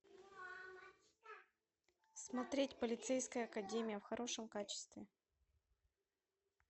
смотреть полицейская академия в хорошем качестве